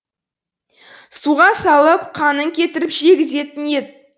суға салып қанын кетіріп жегізетін ет